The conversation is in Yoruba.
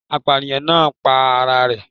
Apàyàǹ náà pa ara rẹ̀